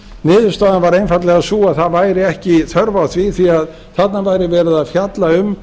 niðurstaðan var einfaldlega sú að það væri ekki þörf á því því þarna væri verið að fjalla um